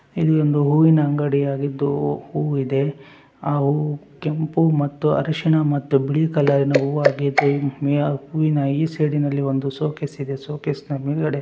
ಇಲ್ಲಿ ಒಂದು ಹೂವಿನ ಅಂಗಡಿ ಆಗಿದ್ದು ಹೂ ಹೂವಿದೆ ಆ ಹೂವು ಕೆಂಪು ಮತ್ತು ಅರಶಿಣ ಮತ್ತು ಬಿಳಿ ಕಲರಿನ ಹೂವಾಗಿದೆ ಮತ್ತೆ ಈ ಸೈಡಿನಲ್ಲಿ ಒಂದು ಶೊಕೆಶ ಇದೆ ಶೊಕೆಶನ ಮುಂದಗಡೆ --